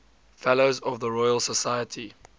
fellows of the royal society